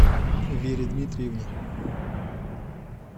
вере дмитриевне